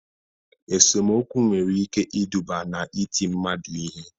Esomokwu nwere ike iduba n'iti mmadụ ihe